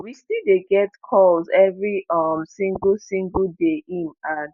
"we still dey get [calls] evri um single single day" im add.